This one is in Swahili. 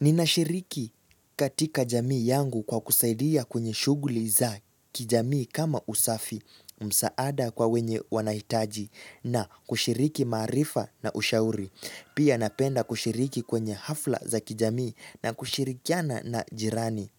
Ninashiriki katika jamii yangu kwa kusaidia kwenye shughli za kijamii kama usafi msaada kwa wenye wanahitaji na kushiriki maarifa na ushauri. Pia napenda kushiriki kwenye hafla za kijamii na kushirikiana na jirani.